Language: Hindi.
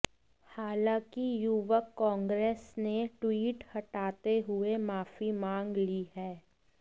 हालांकि युवक कांग्रेस ने ट्वीट हटाते हुए माफी मांग ली है